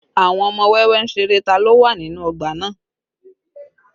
Àwọn ọmọ wẹ́wẹ́ ń ṣeré tá ló wà nínú ọgbà náà